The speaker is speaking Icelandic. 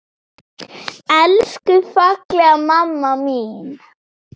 Elsku fallega mamma mín!